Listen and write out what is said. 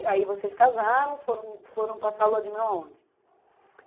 Aí vocês casaram, foram foram passar a lua de mel aonde?